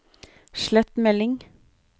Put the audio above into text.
slett melding